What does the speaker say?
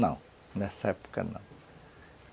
Não, nessa época não.